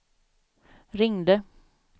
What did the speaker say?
ringde